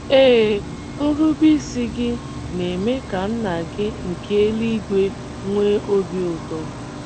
Ee, nrubeisi gị na - eme ka Nna gị nke eluigwe nwee obi ụtọ.